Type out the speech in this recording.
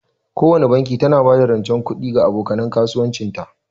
Kowana banki tana ba da rancen kuɗi ga aboka nan kasuwancin ta.